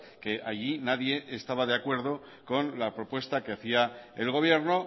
que allí nadie estaba de acuerdo con la propuesta que hacía el gobierno